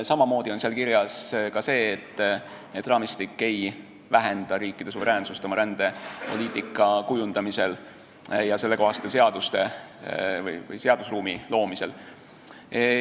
Samamoodi on seal kirjas see, et raamistik ei vähenda riikide suveräänsust oma rändepoliitika kujundamisel ja sellekohaste seaduste või seadusruumi loomisel.